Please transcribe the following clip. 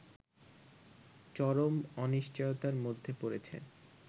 চরম অনিশ্চয়তার মধ্যে পড়েছে